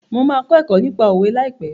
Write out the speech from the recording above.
Mo máa kọ́ ẹ̀kọ́ nípa òwe ní àìpé.